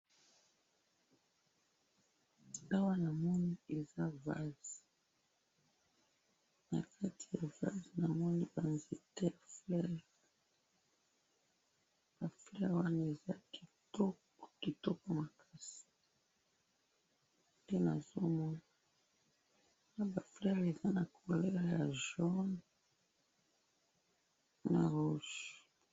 Awa namoni eza vase. Nakati ya vase namoni ba nzete, fleur. Ba fleurs Wana eza kitoko, kitoko makasi, nde nazomona. Na ba fleurs eza na couleur ya jaune na rouge.